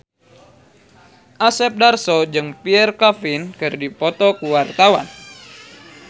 Asep Darso jeung Pierre Coffin keur dipoto ku wartawan